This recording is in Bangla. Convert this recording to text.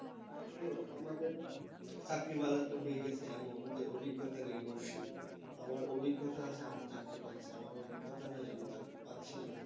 তো আমাদের চাকরির বাজারটা হয়ে গেছে এমন যে অভিজ্ঞতা নেই বেশি আমার অভিজ্ঞতা আছে আমি চাকরি পাচ্ছি আমার অভিজ্ঞতা নেই আমি চাকরি পাচ্ছি না